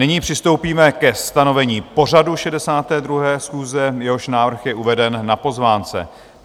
Nyní přistoupíme ke stanovení pořadu 62. schůze, jehož návrh je uveden na pozvánce.